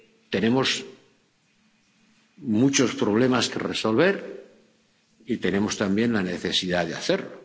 tenemos muchos problemas que resolver y tenemos también la necesidad de hacerlo.